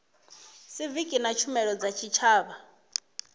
siviki na tshumelo dza tshitshavha